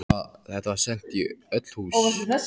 Þetta var sent í öll hús!